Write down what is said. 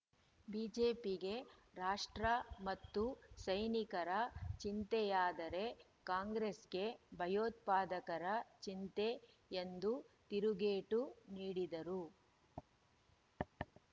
ಬಿಜೆಪಿಗೆ ರಾಷ್ಟ್ರ ಮತ್ತು ಸೈನಿಕರ ಚಿಂತೆಯಾದರೆ ಕಾಂಗ್ರೆಸ್‌ಗೆ ಭಯೋತ್ಪಾದಕರ ಚಿಂತೆ ಎಂದು ತಿರುಗೇಟು ನೀಡಿದರು